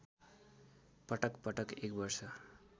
पटकपटक १ वर्ष